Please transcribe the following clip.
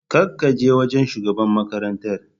Ka kaje wajan shugaban makarantar?